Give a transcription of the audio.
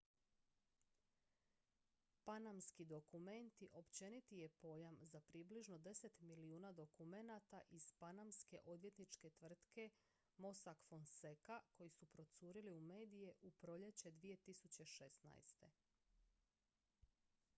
"""panamski dokumenti" općeniti je pojam za približno deset milijuna dokumenata iz panamske odvjetničke tvrtke mossack fonseca koji su procurili u medije u proljeće 2016.